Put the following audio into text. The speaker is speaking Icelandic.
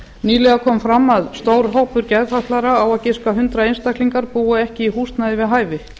nýlega kom fram að stór hópur geðfatlaðra á að giska hundrað einstaklingar búa ekki í húsnæði við hæfi